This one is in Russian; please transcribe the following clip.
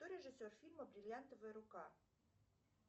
кто режиссер фильма бриллиантовая рука